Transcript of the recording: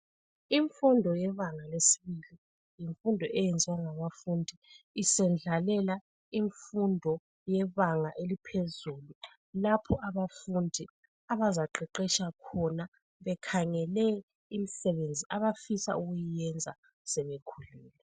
Imfundo yebanga lesibili, yimfundo eyenziwa ngabafundi isendlalela imfundo yebanga eliphezulu, lapho abafundi abazaqeqetsha khona bekhangele imisebenzi abafisa ukuyenza sebekhulile.